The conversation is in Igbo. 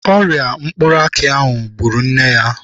Ọrịa mkpụrụ aki ahụ gbụrụ nne ya.